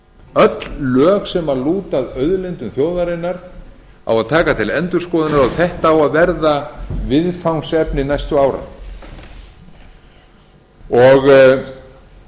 öll lög sem lúta að auðlindum þjóðarinnar á að taka til endurskoðunar og þetta á að verða viðfangsefni næstu ára